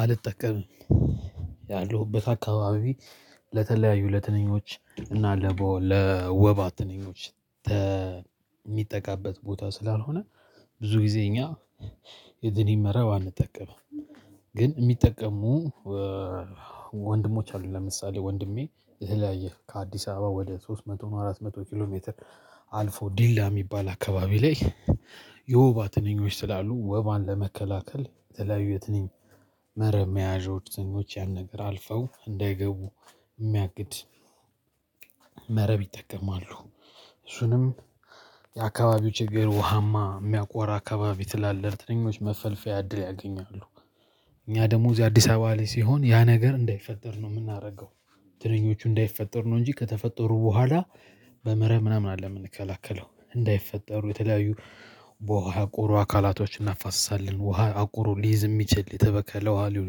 አልጠቀምም ያለሁበት አካባቢ ለተለያዩ ለትንኞች እና ለወባ ትንኞች የሚጠቃበት ቦታ ስላልሆነ ብዙ ጊዜ እኛ የትንኝ መረብ አንጠቀምም። ግን የሚጠቀሙ ወንድሞች አሉ። ለምሳሌ ወንድሜ የተለያየ ከአዲስ አበባ ወደ ሶስት መቶ አራት መቶ ኪሎ ሜትር አልፎ ዲላ የሚባል አካባቢ ላይ የወባ ትንኞች ስላሉ ወባን ለመከላከል የተለያዩ የትንኝ መረብ መያዣዎች ያን ነገር አልፈው እንዳይገቡ የሚያግድ መረብ ይጠቀማሉ። እሱንም የአካባቢው ችግር ውሃማ የሚያቆራ አካባቢ ስላለ ትንኞች መፈልፈያ እድል ያገኛሉ። እኛ ደግሞ እዚህ አዲስ አበባ ላይ ሲሆን ያ ነገር እንዳይፈተድ ነው የምናደርገው። ትንኞቹ እንዳይፈጠር ነው እንጂ ከተፈጠሩ በኋላ በመረብ ምናምን አለ የምንከላከለው እንዳይፈጠሩ የተለያዩ በውሃ የቆሮ አካላቶችን አነፋሰሳለን ውሃ አቆሮ ሊይዝ የሚችል የተበከለ ውሃ ሊሆን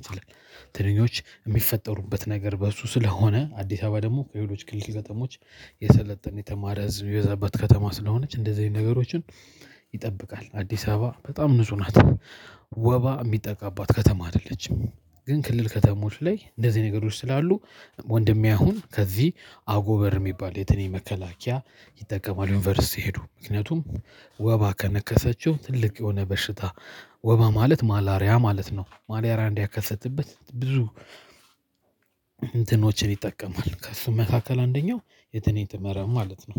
ይችላል። ትንኞች የሚፈጠሩበት ነገር በእሱ ስለሆነ አዲስ አበባ ደግሞ ከሌሎች ክልል ከተሞች የሰለጠነ የተማረ ህዝብ ሚዘበት ከተማ ስለሆነች እንደዚህ አይነት ነገሮችን ይጠብቃል። አዲስ አበባ በጣም ንጹህ ናት። ወባ የሚጠቃባት ከተማ አይደለችም። ግን ክልል ከተሞች ላይ እንደዚህ ነገሮች ስላሉ ወንድሜ አሁን ከዚህ አጎበር የሚባል የትንኝ መከላከያ ይጠቀማል። ዩኒቨርሲቲ ሄዶ ምክንያቱም ወባ ከነከሰችው ትልቅ የሆነ በሽታ ወባ ማለት ማላሪያ ማለት ነው። ማላሪያ እንዳይከሰትበት ብዙ እንትኖችን ይጠቀማል ከሱ መካከል አንደኛው የትንኝ መረብ ማለት ነው